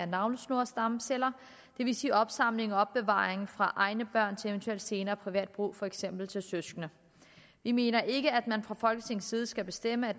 navlesnorsstamceller det vil sige opsamling og opbevaring fra egne børn til eventuel senere privat brug for eksempel til søskende vi mener ikke at man fra folketingets side skal bestemme